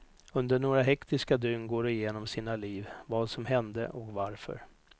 Under några hektiska dygn går de igenom sina liv, vad som hände och varför.